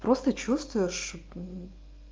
просто чувствуешь